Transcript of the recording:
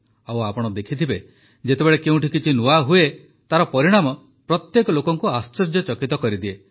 ଆଉ ଆପଣ ଦେଖିଥିବେ ଯେତେବେଳେ କେଉଁଠି କିଛି ନୂଆ ହୁଏ ତାର ପରିଣାମ ପ୍ରତ୍ୟେକ ଲୋକଙ୍କୁ ଆଶ୍ଚର୍ଯ୍ୟଚକିତ କରିଦିଏ